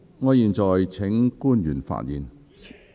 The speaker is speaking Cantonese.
我現在請官員發言......